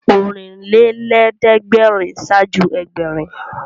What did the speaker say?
Ọ̀rìnlélẹ́ẹ̀dẹ́gbèrin ṣáájú Ẹgbẹ̀rin